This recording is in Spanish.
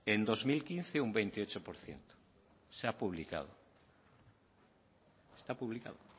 en dos mil quince un veintiocho por ciento se ha publicado está publicado